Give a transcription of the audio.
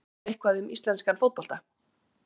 Veistu eitthvað um íslenskan fótbolta?